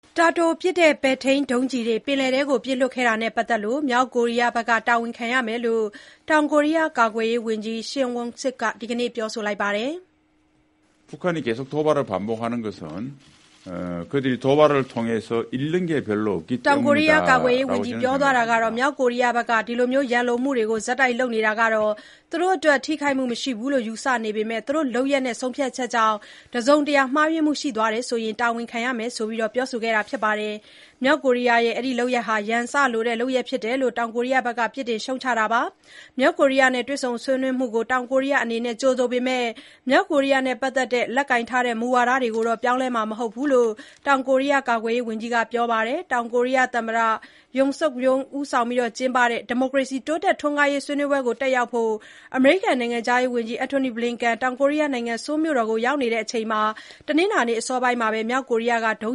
တာတိုပစ် ပဲ့ထိန်းဒုံးကျည်တွေ ပင်လယ်ထဲပစ်လွှတ်ခဲ့တာနဲ့ပတ်သက်လို့ မြောက်ကိုရီးယားက တာဝန်ခံရမယ်လို့ တောင်ကိုရီးယား ကာကွယ်ရေးဝန်ကြီး Shin Won-sik က ဒီကနေ့ပြောပါတယ်။ မြောက်ကိုရီးယားက အခုလိုရန်လိုမှုတွေကို ဆက်တိုက်လုပ်နေတာ သူတို့အတွက်ထိခိုက်မှုမရှိဘူးလို့ ယူဆနေပေမဲ့ သူတို့လုပ်ရပ်နဲ့ ဆုံးဖြတ်ချက်ကြောင့် တစုံတရာမှားယွင်းမှုရှိခဲ့ရင် တာဝန်ခံရမယ်လို့ ကာကွယ်ရေးဝန်ကြီး Shin Won-sik ကပြောဆိုတာပါ။ မြောက်ကိုရီးယားရဲ့ အခုလိုလုပ်ရပ်ဟာ ရန်စလိုတဲ့ လုပ်ရပ်ဖြစ်တယ်လို့လည်း တောင်ကိုရီးယားက ပြစ်တင်ရှုတ်ချပါတယ်။ မြောက်ကိုရီးယားနဲ့ တွေ့ဆုံဆွေးနွေးမှုကို တောင်ကိုရီးယားအနေနဲ့ ကြိုဆိုပေမဲ့ မြောက်ကိုရီးယားနဲ့ ပတ်သက်လို့ လက်ကိုင်ထားတဲ့ မူဝါဒတွေကိုတော့ ပြောင်းလဲမှာမဟုတ်ဘူးလို့လည်း တောင်ကိုရီးယား ကာကွယ်ရေးဝန်ကြီး Shin Won-sik က ပြောပါတယ်။ တောင်ကိုရီးယားသမ္မတ Yoon Suk Yeol ဦးစီးကျင်းပတဲ့ ဒီမိုကရေစီ တိုးတက်ထွန်းကားရေး ဆွေးနွေးပွဲတက်ရောက်ဖို့ အမေရိကန် နိုင်ငံခြားရေးဝန်ကြီး Antony Blinken တောင်ကိုရီးယားနိုင်ငံ Seoul မြို့ကိုရောက်နေတဲ့ အချိန် တနင်္လာနေ့အစောပိုင်းမှာပဲ မြောက်ကိုရီးယားက ဒု